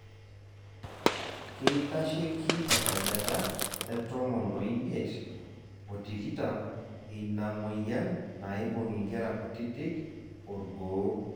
keitasheki esajata e tomon oimiet,o tikitam eina moyian naibung' inkera kutitik orgoo.